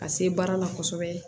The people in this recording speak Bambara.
Ka se baara la kosɛbɛ